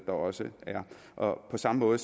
også er på samme måde